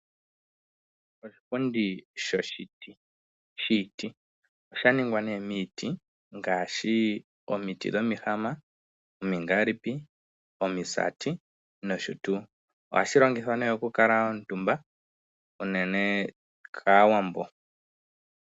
Oshipundi shoshiti, oshaningwa miiti ngaashi omiti dhomihama , omingaalipi, omisati noshotuu. Ohashi longithwa okukala omutumba unene kAawambo.